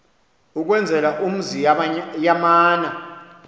ukwenzela umzi yamana